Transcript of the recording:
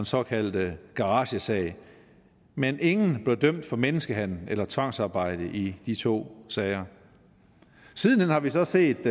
såkaldte garagesag men ingen blev dømt for menneskehandel eller tvangsarbejde i de to sager siden hen har vi så set